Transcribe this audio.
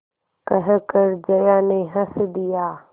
कहकर जया ने हँस दिया